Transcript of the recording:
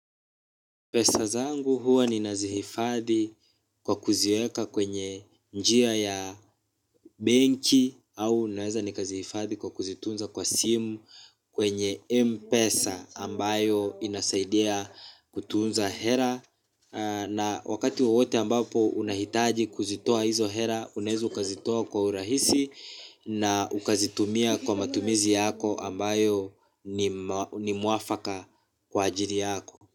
Pesa zangu huwa ninazihifadhi kwa kuziweka kwenye njia ya benki au naweza nikazihifadhi kwa kuzitunza kwa simu kwenye M-pesa ambayo inasaidia kutunza hela na wakati wowote ambapo unahitaji kuzitoa hizo hera unaezu ukazitoa kwa urahisi na ukazitumia kwa matumizi yako ambayo ni mwafaka kwa ajili yako.